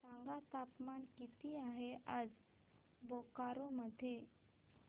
सांगा तापमान किती आहे आज बोकारो मध्ये